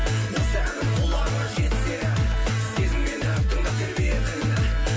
осы әнім құлағыңа жетсе сезіммен